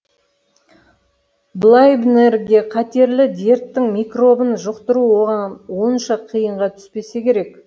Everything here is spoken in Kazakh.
блайбнерге қатерлі дерттің микробын жұқтыру оған онша қиынға түспесе керек